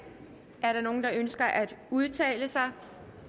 er der nogen der ønsker at udtale sig